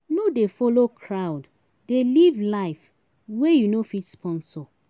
No dey folo crowd dey live life wey you no fit sponsor.